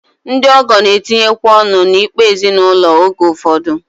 Ndị ọgọ na-etinyekwa ọnụ n'ikpe ezinụlọ oge ụfọdụ